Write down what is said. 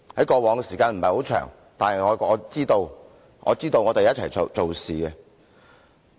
過往這些時間不是很長，但我們一起做事。